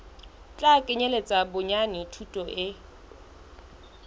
tla kenyeletsa bonyane thuto e